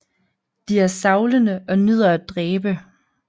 De er savlende og nyder at dræbe